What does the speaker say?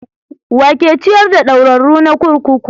Wa yake ciyar da ɗaurarru na kurkuku?